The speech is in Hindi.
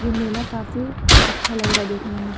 ये मेला काफी अच्छा लग रहा है देखने में।